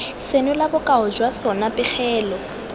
senola bokao jwa sona pegelo